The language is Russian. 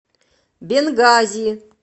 бенгази